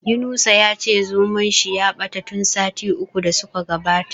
Yunusa ya ce zomon shi ya bace tun sati uku da su ka gabata.